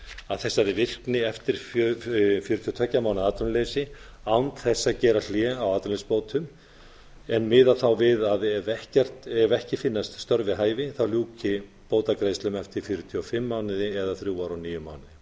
að þessari virkni eftir fjörutíu og tveggja mánaða atvinnuleysi án þess að gera hlé á atvinnuleysisbótum en miða þá við að ef ekki finnast störf við hæfi þá ljúki bótagreiðslum eftir fjörutíu og fimm mánuði eða þrjú ár og níu mánuði